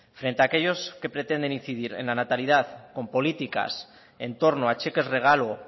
frente a aquellos que pretenden incidir en la natalidad con políticas en torno a cheques regalo